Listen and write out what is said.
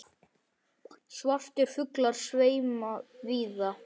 Svartir fuglar sveima víða.